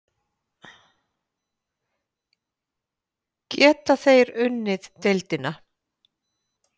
Geta þeir unnið deildina?